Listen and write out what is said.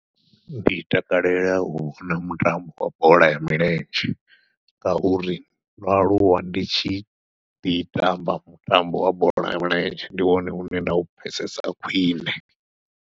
Ndi takalela u vhona mutambo wa bola ya milenzhe, ngauri ndo aluwa ndi tshi ḓi tamba mutambo wa bola ya milenzhe ndi wone une nda u pfhesesa khwiṋe.